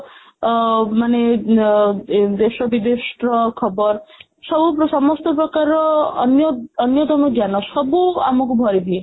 ଅ ମାନେ ଆ ଦେଶ ବିଦେଶର ଖବର ସବୁ ସମସ୍ତ ପ୍ରକାରର ଅନ୍ୟ ଅନ୍ୟତମ ଜ୍ଞାନ ସବୁ ଆମକୁ ଭରିଦିଏ